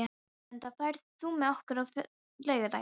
Erlinda, ferð þú með okkur á laugardaginn?